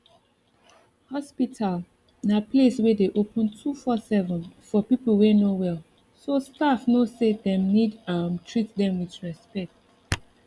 hospital na place wey dey open 247 for peope wey no wellso staff no say dem need um treat dem with respect